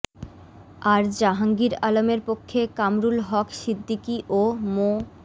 আর জাহাঙ্গীর আলমের পক্ষে কামরুল হক সিদ্দিকী ও মো